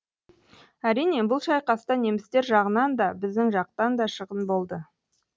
әрине бұл шайқаста немістер жағынан да біздің жақтан да шығын болды